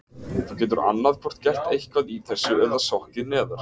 Þú getur annað hvort gert eitthvað í þessu eða sokkið neðar.